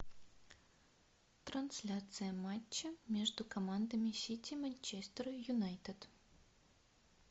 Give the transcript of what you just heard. трансляция матча между командами сити манчестер юнайтед